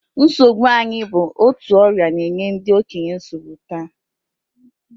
Nsogbu anya bụ otu ọrịa na-enye ndị okenye nsogbu taa